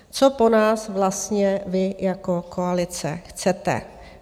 Co po nás vlastně vy jako koalice chcete?